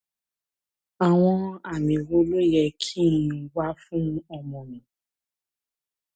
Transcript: àwọn àmì wo ló yẹ kí n wá fún ọmọ mi